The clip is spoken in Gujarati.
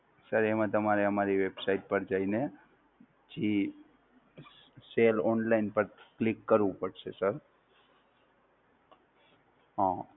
Sir એમાં તમારે અમારી website પર જઈને, જે Cell online પર Click કરવું પડશે Sir.